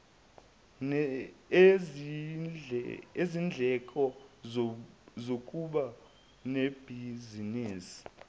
nezindleko zokuba nebhizinisi